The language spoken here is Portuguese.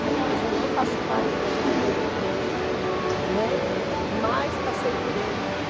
Hoje eu não faço parte da diretoria dele, né, mas passei por ele.